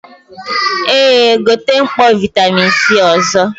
Eh, gote mkpọ vitamin C ọzọ